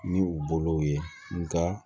Ni u bolow ye nka